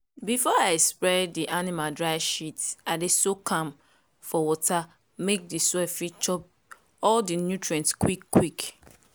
before i spread di animal dry shit i dey soak am for water make di soil fit chop all di nutrient quick-quick.